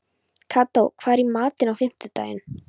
Kató, hvað er í matinn á fimmtudaginn?